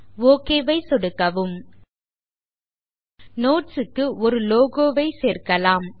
okay ஐ சொடுக்கவும் notes க்கு ஒரு லோகோ ஐ சேர்க்கலாம்